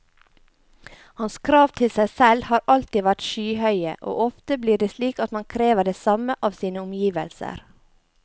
Hans krav til seg selv har alltid vært skyhøye, og ofte blir det slik at man krever det samme av sine omgivelser.